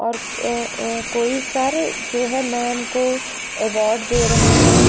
और अ कोई सर जो है मैम को अवार्ड दे रहे हैं।